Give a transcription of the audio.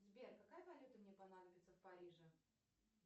сбер какая валюта мне понадобится в париже